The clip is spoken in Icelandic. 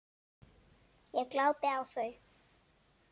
Ég glápi á þau.